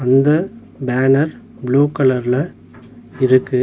இந்த banner blue கலர்ல இருக்கு.